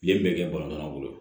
Yen bɛɛ kɛ balontan bolo